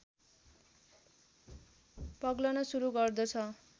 पग्लन सुरु गर्दछ